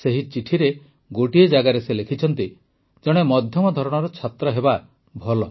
ସେହି ଚିଠିରେ ଗୋଟିଏ ଜାଗାରେ ସେ ଲେଖିଛନ୍ତି ଜଣେ ମଧ୍ୟମ ଧରଣର ଛାତ୍ର ହେବା ଭଲ